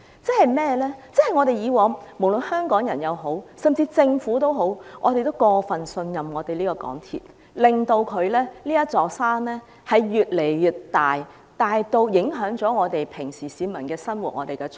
過去無論是香港人，甚至政府都過分信任港鐵公司，令這座山越來越大，大至影響市民的日常生活和出行。